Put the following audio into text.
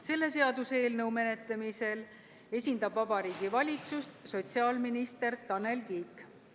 Selle seaduseelnõu menetlemisel esindab Vabariigi Valitsust sotsiaalminister Tanel Kiik.